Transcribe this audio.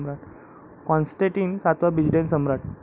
Constantine सातवा, Byzantine सम्राट.